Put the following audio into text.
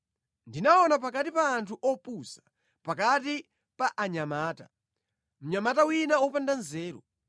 Ndinaona pakati pa anthu opusa, pakati pa anyamata, mnyamata wina wopanda nzeru.